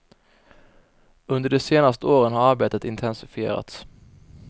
Under de senaste åren har arbetet intensifierats.